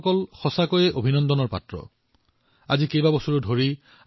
আমাৰ ইন্দোৰ বহু বছৰ ধৰি স্বচ্ছ ভাৰত ৰেংকিংত এক নম্বৰ স্থানত আছে